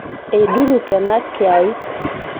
eiduruk ena kiyaik